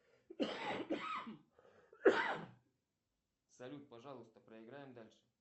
салют пожалуйста проиграем дальше